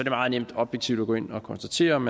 er meget nemt objektivt at gå ind og konstatere om